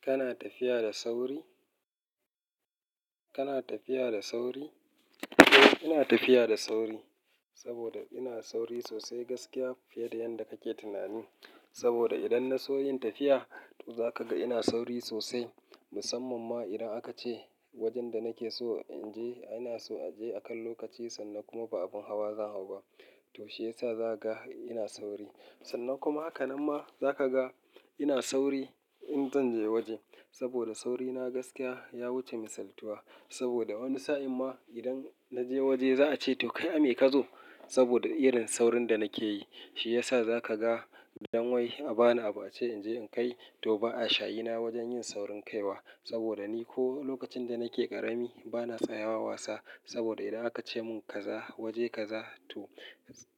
Kana tafiya da sauri? Kana tafiya da sauri? Ina tafiya da sauri saboda ina sauri sosai gaskiya fiye da yanda kake tunani. Saboda idan na so yin tafiya, za ka ga ina sauri sosai, musamman ma idan aka ce wajen da nake so in je, ana so a je akan lokaci sannan kuma ba abin hawa zan hau ba. To shi yasa za ka ga ina sauri. Sannan kuma, hakanan ma za ka ga ina sauri in zan je waje saboda sauri na gaskiya ya wuce misaltuwa. Saboda wani sa'in ma idan na je waje za a ce, "to kai Ame kazo" saboda irin saurin da nake yi. Shi yasa za ka ga idan wai a ba ni abu a ce in je in kai, to ba a shayi na wajen yin saurin kai wa. Saboda ni ko lokacin da nake ƙarami bana tsayawa wasa. Saboda idan aka ce mun kaza waje kaza, to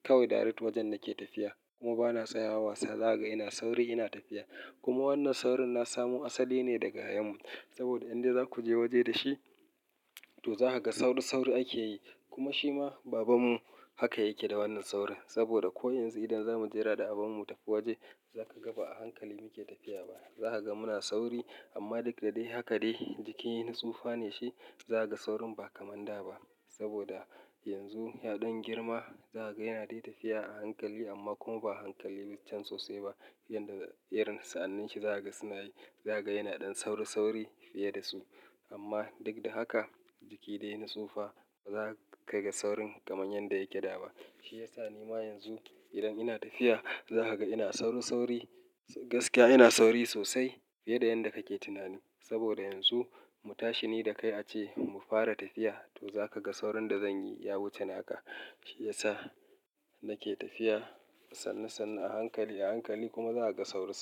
kawai direct wajen nake tafiya kuma bana tsayawa wasa. Za ka ga ina sauri ina tafiya. Kuma wannan saurin na samu asali ne daga yayanmu. Saboda idan za ku je waje da shi, to za ka ga sauri, sauri ake yi. Kuma shi ma babanmu haka yake da wannan saurin. Saboda ko yanzu, idan za mu jera da babanmu tafi waje, za ka ga ba a hankali muke tafiya ba. Za ka ga muna sauri amma duk da dai haka dai jiki yana tsufa ne shi. Za ka ga saurin ba kamar da ba. Saboda yanzu ya ɗan girma, za ka ga yana dai tafiya a hankali amma kuma ba a hankali can sosai ba. Yanda, irin, sa'anins shi za ka ga suna yi. Za ka ga yana ɗan sauri, sauri fiye da su. Amma duk da haka jiki dai yana tsufa. Ba za ka ga saurin kamar yanda yake da ba. Shi yasa ni ma yanzu idan ina tafiya za ka ga ina sauri sauri. Gaskiya ina sauri sosai fiye da yanda kake tunani. Saboda yanzu mu tashi ni da kai a ce mu fara tafiya, to za ka ga saurin da zan yi ya wuce naka. Shi yasa nake tafiya sannu sannu a hankali a hankali kuma za ka ga saurin sa.